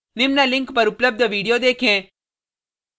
निम्न link पर उपलब्ध video देखें